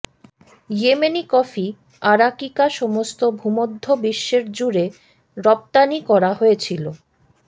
Yemeni coffee arabica সমস্ত ভূমধ্য বিশ্বের জুড়ে রপ্তানি করা হয়েছিল